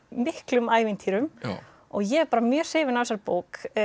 miklum ævintýrum og ég er bara mjög hrifin af þessari bók